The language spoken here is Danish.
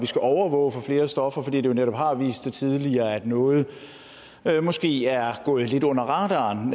skal overvåge flere stoffer fordi det netop har vist sig tidligere at noget noget måske er gået lidt under radaren